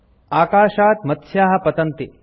अकाशात् मत्स्याः पतन्ति